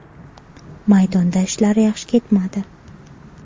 Maydonda ishlar yaxshi ketmadi.